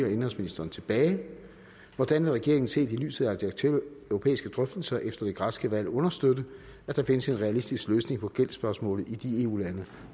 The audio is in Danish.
og indenrigsministeren tilbage hvordan vil regeringen set i lyset af de aktuelle europæiske drøftelser efter det græske valg understøtte at der findes en realistisk løsning på gældsspørgsmålet i de eu lande